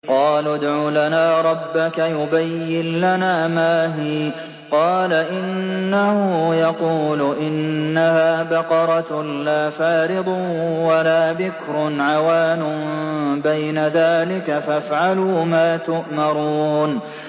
قَالُوا ادْعُ لَنَا رَبَّكَ يُبَيِّن لَّنَا مَا هِيَ ۚ قَالَ إِنَّهُ يَقُولُ إِنَّهَا بَقَرَةٌ لَّا فَارِضٌ وَلَا بِكْرٌ عَوَانٌ بَيْنَ ذَٰلِكَ ۖ فَافْعَلُوا مَا تُؤْمَرُونَ